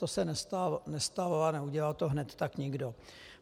To se nestalo a neudělal to tak hned někdo.